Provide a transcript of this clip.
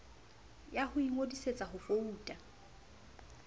ya ho ingodisetsa ho vouta